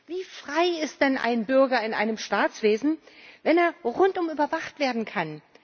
Wie frei ist denn ein Bürger in einem Staatswesen, wenn er rundum überwacht werden kann?